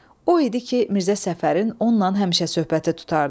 O idi ki, Mirzə Səfərin onunla həmişə söhbəti tutardı.